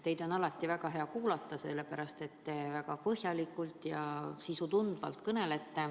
Teid on alati väga hea kuulata, sellepärast et te tunnete sisu ja kõnelete väga põhjalikult.